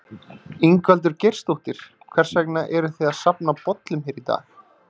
Ingveldur Geirsdóttir: Hvers vegna eruð þið að safna bollum hér í dag?